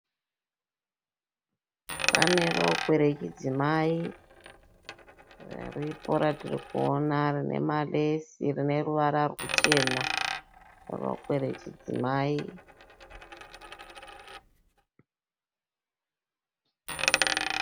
Pane rokwe rechidzimai riripo ratiri kuona rine maresi rine ruvara ruchena. Rokwe rechidzimai.